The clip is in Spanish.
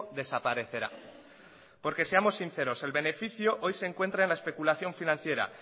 desaparecerá porque seamos sinceros el beneficio hoy se encuentra en la especulación financiera